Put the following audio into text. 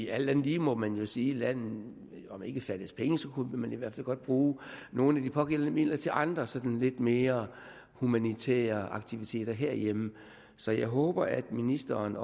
alt andet lige må man vel sige landet lidt fattes penge så kunne bruge nogle af de pågældende midler til andre sådan lidt mere humanitære aktiviteter herhjemme så jeg håber at ministeren